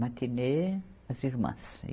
Matinê, as irmãs.